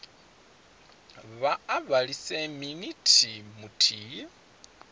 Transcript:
vha a vhilise minithi muthihi